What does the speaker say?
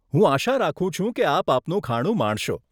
હું આશા રાખું છું કે આપ આપનું ખાણું માણશો.